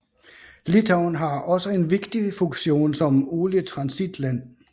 Litauen har også en vigtig funktion som olietransitland